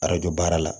Arajo baara la